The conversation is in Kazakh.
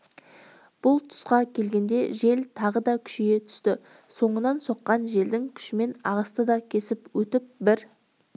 бұл тұсқа келгенде жел тағы да күшейе түсті соңынан соққан желдің күшімен ағысты да кесіп өтіп бір